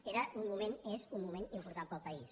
era un moment és un moment important per al país